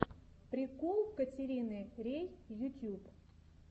прикол катерины рей ютьюб